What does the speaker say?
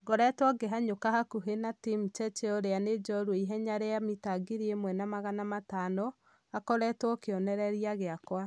ngoretwo ngĩhanyũka hakuhĩ na tim cheche ũria nĩ jũrua ihenya rĩa mita ngiri ĩmwena magana matano , akoretwo kionereria gia-kwa